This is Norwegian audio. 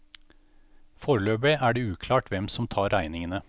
Foreløpig er det uklart hvem som tar regningene.